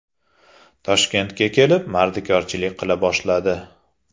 Toshkentga kelib, mardikorchilik qila boshladi.